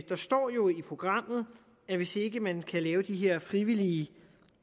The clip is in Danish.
står jo i programmet at hvis ikke man kan lave de her frivillige